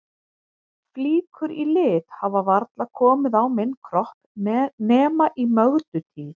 Flíkur í lit hafa varla komið á minn kropp nema í Mögdu tíð.